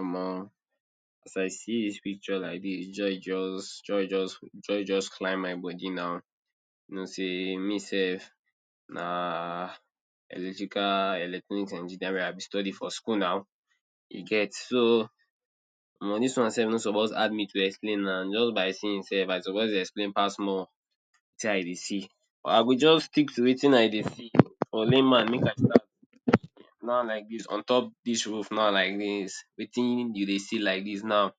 Omo, as I see dis picture like dis joy just joy just joy just climb my body now, you know sey me sef um electrical electronic engineering I be study for school na you get so um omo dis one no suppose hard me to explain na just by seeing sef I suppose to explain pass more. Wetin I dey see? I go just stick to wetin I dey see, for lame man make I start from on top dis roof na like dis wetin you dey see like dis now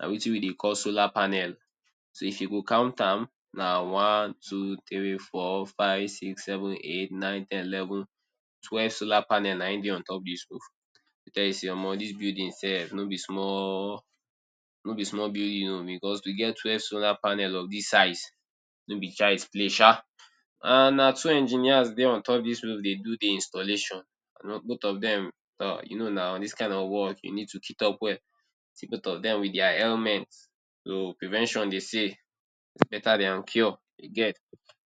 na wetin we dey call solar panel so if you go count am na one, two, three, four, five, six, seven, eight, nine, ten, eleven, twelve solar panel na dey on top dis roof. Tell you sey omo dis building sef no be small building because we get twelve solar panel of dis size, no be child’s play sha. And na two engineers dey on top dis roof dey do the installations and both of dem you know na dis kind of work you need to kit up well, see both of dem with their helmet. so prevention dey say is better than cure you get.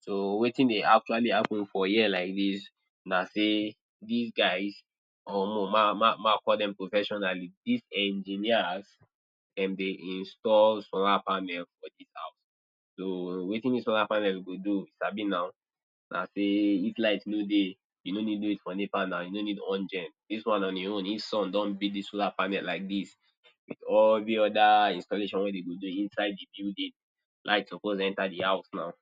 So wetin dey actually happen for here like dis na sey dis guys or omo make I call dem professionally these engineers dem dey install solar panel for the house, so wetin dis solar panel go do you sabi na sey if light no dey you no need wait for nepa na you no need on gen, dis one on e own if sun don beat the solar panel like dis with every other installation wey dem go do inside the building light suppose enter the house now.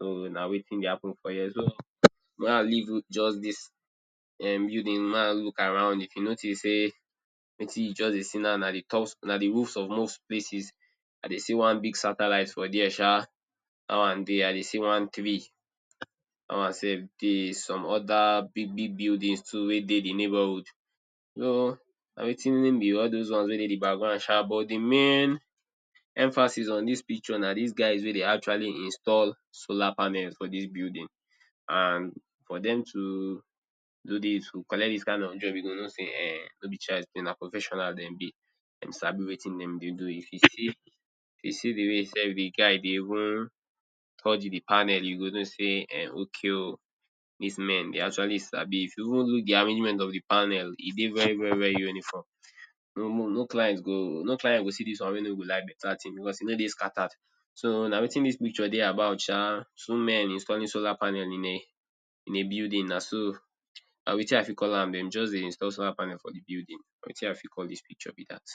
So na wetin dey happen for here so may i leave just dis building make I look around if you notice sey wetin you just dey see na na the roof of most places, I dey see one big satellite for there sha dat one dey I dey see one tree dat one sef dey some other big big building too wey e dey the neighborhood. so na wetin be all those one wey e dey de back ground sha but de main emphasis for dis picture na these guys wey dey actually install solar panel for dis building. And for dem to do dis to collect dis kind of job you go know sey um no be chiild’s play na professionals dem be, dem sabi wetin dem dey do if you see see de way self de guy dey even touch the panel you go know sey um okay dis men de actually sabi if you even look de arrangement of de panel, e dey very very uniform. No client go see dis one wey no go even like better thing because e no dey scattered. So na wetin dis picture dey about sha, two men installing solar panel in a building na so, na wetin I fit call am dem just dey install solar panel for the building na wetin I fit call dis picture be dat.